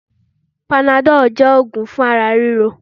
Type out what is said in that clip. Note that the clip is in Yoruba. Panadọ́lù jẹ́ ogún fún ara ríro.